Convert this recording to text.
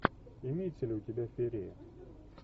имеется ли у тебя феерия